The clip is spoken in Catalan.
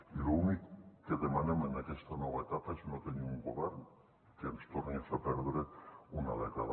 i l’únic que demanem en aquesta nova etapa és no tenir un govern que ens torni a fer perdre una dècada